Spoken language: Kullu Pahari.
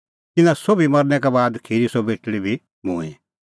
तिन्नां सोभी मरनै का बाद खिरी सह बेटल़ी बी मूंईं